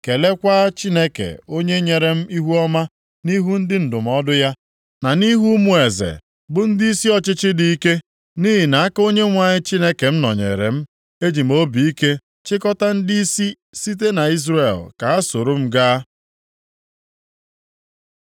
Keleekwa Chineke onye nyere m ihuọma nʼihu ndị ndụmọdụ ya, na nʼihu ụmụ eze, bụ ndịisi ọchịchị dị ike. Nʼihi na aka Onyenwe anyị Chineke m nọnyeere m. Eji m obi ike chịkọta ndịisi site nʼIzrel ka ha soro m gaa.